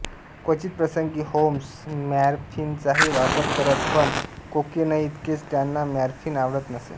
क्वचित प्रसंगी होम्स मॉरफीनचाही वापर करत पण कोकेनइतके त्यांना मॉरफीन आवडत नसे